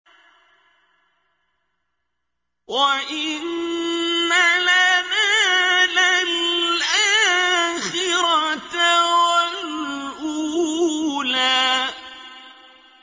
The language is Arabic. وَإِنَّ لَنَا لَلْآخِرَةَ وَالْأُولَىٰ